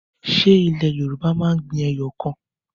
Ṣé ilẹ̀ Yorùbá máa ń gbin ẹyọ kan?